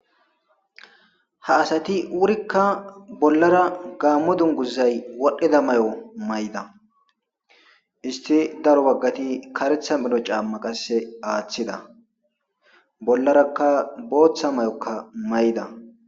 Ha asati wurikka bollara gaammo dunguzay wodhdhida may'o may'da isti daro baggati karetha melo caamma qasse aaththida bollarakka booththa may'okka may'da.